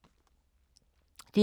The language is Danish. DR K